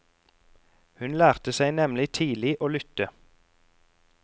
Hun lærte seg nemlig tidlig å lytte.